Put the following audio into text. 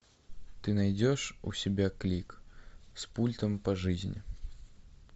ты найдешь у себя клик с пультом по жизни